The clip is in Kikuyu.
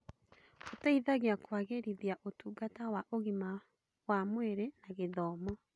Ũteithagia kũagĩrithia ũtungata wa ũgima wa mwĩrĩ na gĩthomo.